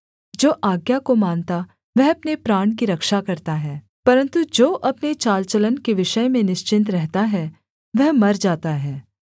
जो आज्ञा को मानता वह अपने प्राण की रक्षा करता है परन्तु जो अपने चाल चलन के विषय में निश्चिन्त रहता है वह मर जाता है